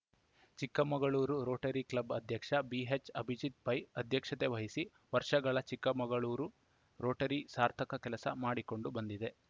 Chikkamagaluru Rotary Club ಅಧ್ಯಕ್ಷ ಬಿಎಚ್‌ಅಭಿಜಿತ್‌ಪೈ ಅಧ್ಯಕ್ಷತೆವಹಿಸಿ ವರ್ಷಗಳ Chikkamagaluru Rotary ಸಾರ್ಥಕ ಕೆಲಸ ಮಾಡಿಕೊಂಡು ಬಂದಿದೆ